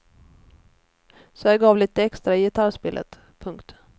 Så jag gav lite extra i gitarrspelet. punkt